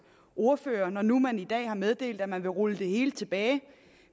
ordfører når nu man i dag har meddelt at man vil rulle det hele tilbage